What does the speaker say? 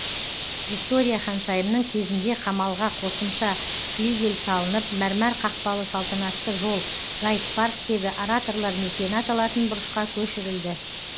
виктория ханшайымның кезінде қамалға қосымша флигель салынып мәрмәр қақпалы салтанатты жол гайд парктегі ораторлар мекені аталатын бұрышқа көшірілді